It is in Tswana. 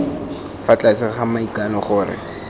fa tlase ga maikano gore